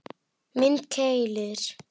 Mynd: Keilir